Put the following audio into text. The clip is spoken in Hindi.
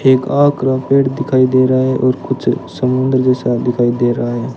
एक और पेड़ दिखाई दे रहा है और कुछ समुद्र जैसा दिखाई दे रहा है।